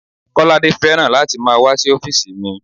Kolade fẹ́ràn láti máa wá sí ọ́físì mi